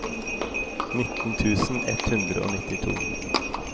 nitten tusen ett hundre og nittito